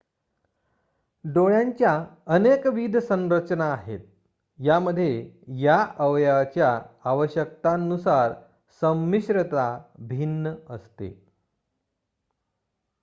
डोळ्यांच्या अनेकविध संरचना आहेत यामध्ये या अवयवाच्या आवश्यकतांनुसार संमिश्रता भिन्न असते